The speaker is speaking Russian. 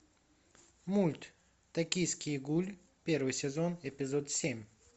мульт токийский гуль первый сезон эпизод семь